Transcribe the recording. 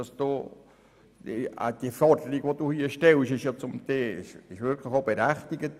Die von Ihnen gestellte Forderung ist auch wirklich berechtigt.